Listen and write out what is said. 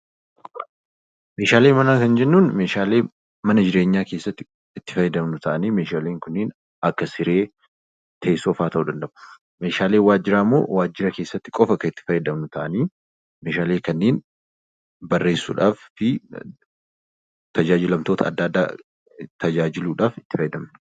Meeshaalee manaa kan jennuun meeshaalee mana keessatti itti fayyadamnu ta'anii kanneen akka siree, teessoo fa'aa ta'uu danda'u. Meeshaaleen waajjiraa immoo wantoota akka tajaajilamtoota adda addaa ittiin tajaajiluuf kan waajjiraalee keessatti nu fayyadanidha.